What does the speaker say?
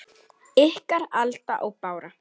Ykkar, Alda og Bára.